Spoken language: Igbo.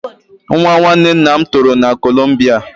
Nwa nwanne nna m toro na kolombia